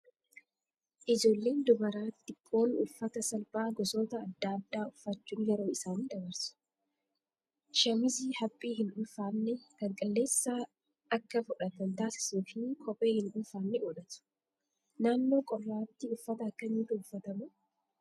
Ijoolleen dubaraa xixiqqoon uffata slphaa gosoota adda addaa uffachuun yeroo isaanii dabarsu. Shaamizii haphii hin ulfaanne kan qilleensa akka fudhatan taasisuu fi kophee hin ulfaanne godhatu. Naannoo qorraatti uffata akkamiitu uffatama?